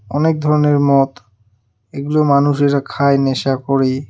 অনেক ধরনের মদ এগুলো মানুষেরা খায় নেশা করে.